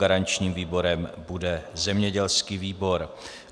Garančním výborem bude zemědělský výbor.